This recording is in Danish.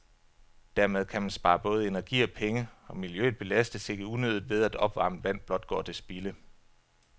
Dermed kan man spare både energi og penge, og miljøet belastes ikke unødigt ved, at opvarmet vand blot går til spilde.